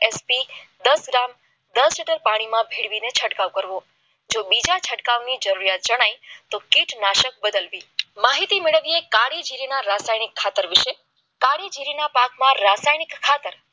SP દસ gram દસ litre પાણીમાં ભેળવી છંટકાવ કરવો જો બીજા છંટકાવ ની જરૂરિયાત જણાય તો કીટનાશક બદલવીએ માહિતી મેળવ્યા કાળી જીરીના રાસાયણિક ખાતર વિશે કાળીજીરીના પાકમાં રાસાયણિક ખાતર